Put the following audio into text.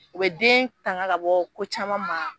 U be den tanga kabɔ ko caman ma.